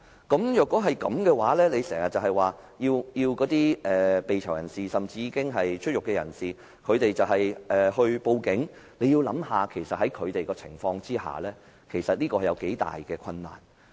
大家要想想，如果當局經常是這樣，只要求被囚的人士，甚至已出獄的人士報警，其實就他們的情況而言，這樣做有多大困難？